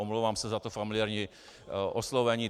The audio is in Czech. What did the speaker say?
Omlouvám se za to familiérní oslovení.